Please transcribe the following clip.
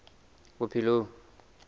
bophelong